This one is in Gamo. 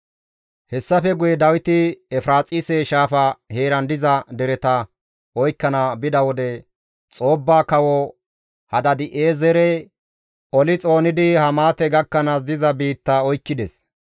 Hessafe guye Dawiti Efiraaxise shaafa heeran diza dereta oykkana bida wode Xoobba Kawo Hadaadi7eezere oli xoonidi Hamaate gakkanaas diza biitta oykkides.